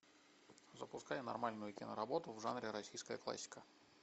запускай нормальную киноработу в жанре российская классика